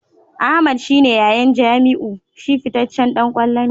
Ahmed shi ne yayan Jamiu; shi fitaccen dan kwallo ne.